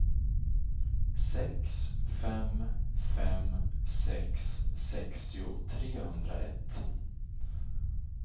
sex fem fem sex sextio trehundraett